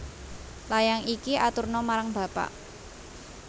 Layang iki aturna marang bapak